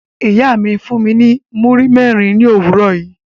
Iya mi fun mi ni muri mẹrin ni owurọ yi